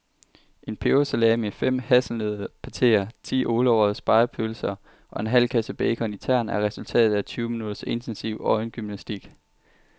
En pebersalami, fem hasselnøddepateer, ti ålerøgede spegepølser og en halv kasse bacon i tern er resultatet af tyve minutters intensiv øjengymnastik.